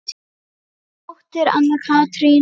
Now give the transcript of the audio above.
Þín dóttir, Anna Katrín.